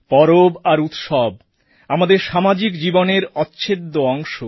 পরব আর উৎসব আমাদের সামাজিক জীবনের অচ্ছেদ্য অংশ